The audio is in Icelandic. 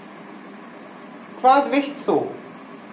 Hvað vilt þú?